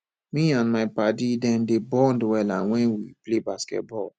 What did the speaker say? me and my paddy dem dey bond wella wen we play basket ball